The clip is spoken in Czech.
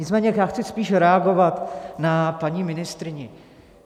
Nicméně já chci spíš reagovat na paní ministryni.